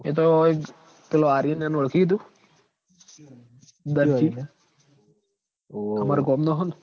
એ તો હોય જ પેલો આર્યનના ઓળખી હી તું દરજી તમાર ગોમ નો હ ન